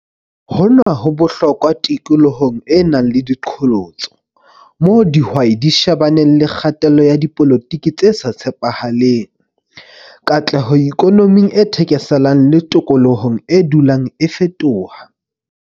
Hona ho bohlokwa tikolohong e nang le diqholotso, moo dihwai di shebaneng le kgatello ya dipolotiki tse sa tshepahaleng, katleho ikonoming e thekeselang le tokolohong e dulang e fetoha.